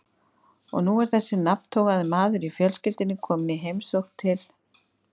Og nú er þessi nafntogaði maður í fjölskyldunni kominn í heimsókn til